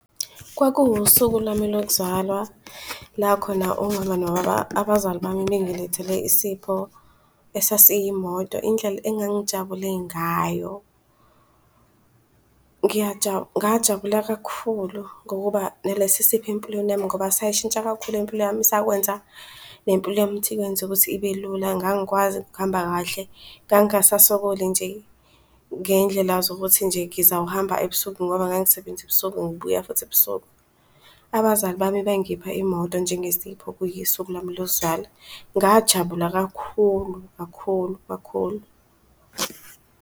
Kwakuwusuku lwami lokuzalwa la khona umama nobaba, abazali bami bengilethele isipho esasiyi moto indlela engangijabule ngayo. Ngajabula kakhulu ngokuba nalesi sipho empilweni yami ngoba sayishintsha kakhulu impilo yami sakwenza nempilo yami ukuthi ikwenze ukuthi ibe lula. Ngangikwazi ukuhamba kahle, ngangingasasokoli nje ngendlela zokuthi nje ngizawuhamba ebusuku ngoba ngangisasebenzisa ebusuku ngibuya futhi ebusuku. Abazali bami bengipha imoto njengesipho kuyisuku lami lokuzalwa. Ngajabula kakhulu, kakhulu, kakhulu.